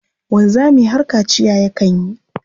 Wanzami har kaciya yakan yi.